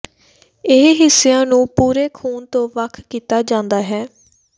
ਇਹ ਹਿੱਸਿਆਂ ਨੂੰ ਪੂਰੇ ਖੂਨ ਤੋਂ ਵੱਖ ਕੀਤਾ ਜਾਂਦਾ ਹੈ